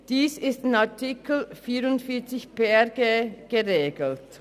Dies ist in Artikel 44 PRG geregelt.